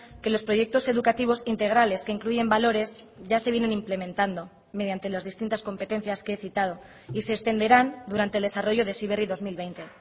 que los proyectos educativos integrales que incluyen valores ya se vienen implementando mediante las distintas competencias que he citado y se extenderán durante el desarrollo de heziberri dos mil veinte